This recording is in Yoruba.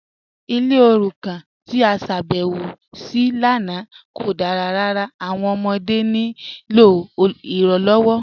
Ilẹ̀ orúkàn tí a ṣábẹ̀wọ sí lánà kò dára ràrà, awọn ọmọdé ní ilọ iranlọwọ